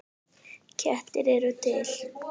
Kettir eru til